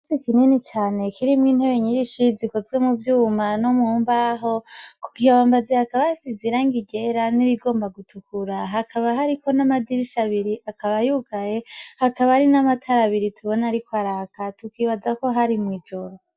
Ikirasi kinini cane kirimwo intebe nyisi zikozwe muvyuma no mumbaho, kukibambazi hakaba hasize irangi ryera nirigomba gutukura hakaba hariko n'amadirisha abiri akaba yugaye hakaba hari n'amatara abiri tubona ariko araka tukibaza ko hari mw'ijoro.